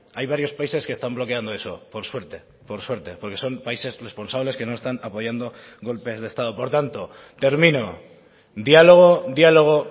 hay varios países que están bloqueando eso por suerte por suerte porque son países responsables que no están apoyando golpes de estado por tanto termino diálogo diálogo